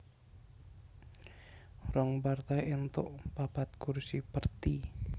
Rong partai éntuk papat kursi Perti